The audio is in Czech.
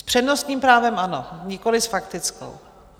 S přednostním právem ano, nikoliv s faktickou.